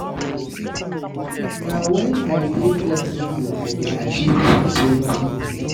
Na wen I dey flexible I dey fit achieve plenty tins.